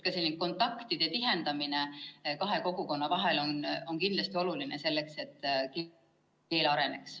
Ka kontaktide tihendamine kahe kogukonna vahel on kindlasti oluline, et keeleoskus areneks.